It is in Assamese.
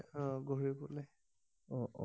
এ অহ ঘূৰিবলে অ অ